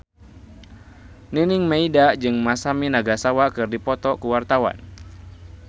Nining Meida jeung Masami Nagasawa keur dipoto ku wartawan